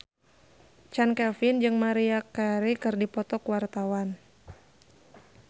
Chand Kelvin jeung Maria Carey keur dipoto ku wartawan